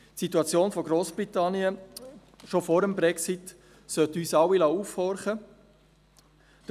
Die Situation von Grossbritannien schon vor dem Brexit sollte uns alle aufhorchen lassen.